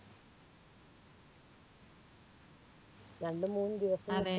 രണ്ടുമൂന്നു ദിവസം